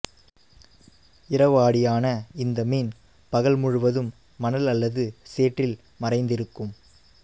இரவாடியான இந்த மீன் பகல் முழுவதும் மணல் அல்லது சேற்றில் மறைந்திருக்கும்